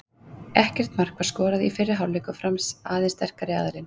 Ekkert mark var skorað í fyrri hálfleik og Fram aðeins sterkari aðilinn.